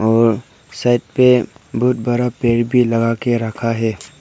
और साइड पे बहुत बड़ा पेड़ भी लगा के रखा है।